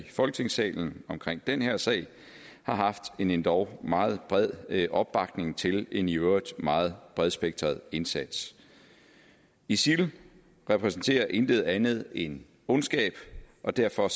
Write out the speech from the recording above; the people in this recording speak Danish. i folketingssalen omkring den her sag har haft en endog meget bred opbakning til en i øvrigt meget bredspektret indsats isil repræsenterer intet andet end ondskab og derfor